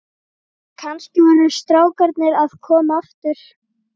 Kannski voru strákarnir að koma aftur.